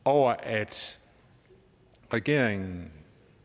over at regeringen